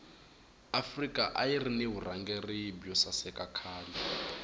afrika ayirina vurhangeli bwosaseka khale